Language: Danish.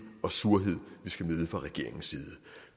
og surhed vi skal møde fra regeringens side